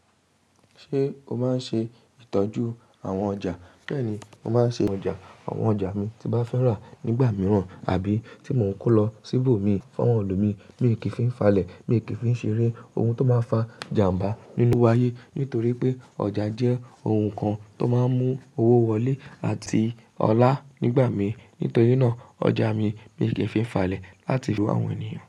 Ṣé o máa ń ṣe ìtọ́jú àwọn ọjà? Bẹ́ẹ̀ni, mo máa ń ṣe ọjà àwọn ọjà mi tí bá fẹ́ rà nígbà mìíràn àbí tí mò ń kó lọ síbò mi fún àwọn ẹlòmíì. Mi ò kì í fi n falẹ̀, mii kì í fi n ṣeré oun tó máa ń fa jàmbá nínú áyé. Nítorí pé ọjà jẹ́ oun kan tó máa ń mú owó wọlé àti ọlá nígbà míi. Nítorí náà, ọjà mi mii kì í fi n falẹ̀ láti rú àwọn ènìyàn.